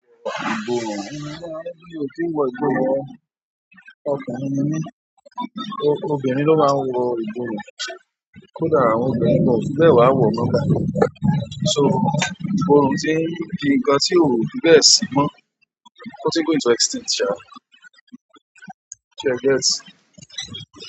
Ìborun, mi o kin wọ ìborun ọkùnrin ni mí, obìnrin ló máa ń wọ ìborun. Kódà àwọn obìnrin o fi bẹ́ẹ̀ wá wọ̀ọ́ báyìí. So ìborun ti n di nǹkan tí ó fi be si mọ́, ó ti ń go into extinct sa, ṣe ẹ get?